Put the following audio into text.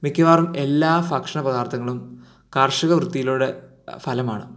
മിക്കവാറും എല്ലാ ഫക്ഷ പതാർതങ്ങളും കർഷകവൃത്തിയിലുടെ ഫലമാണ്